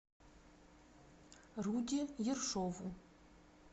руде ершову